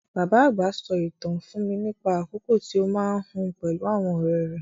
Bàbá àgbà sọ ìtàn fún mi nípa àkókò tí ó máa ń hun pẹ̀lú àwọn ọ̀rẹ́ rẹ̀.